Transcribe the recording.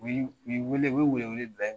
U u ye wele u ye wele-wele bila